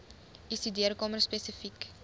u studeerkamer spesifiek